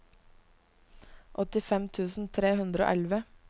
åttifem tusen tre hundre og elleve